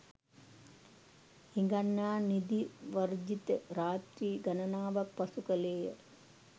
හිඟන්නා නිදි වර්ජිත රාත්‍රී ගණනාවක් පසු කළේය.